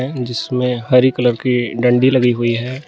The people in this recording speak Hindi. जिसमें हरी कलर की डंडी लगी है।